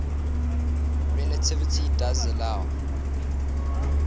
relativity does allow